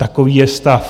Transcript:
Takový je stav.